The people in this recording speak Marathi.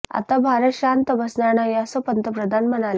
आता भारत शांत बसणार नाही असं पंतप्रधान म्हणाले